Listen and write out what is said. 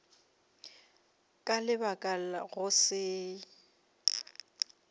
ka lebaka la go se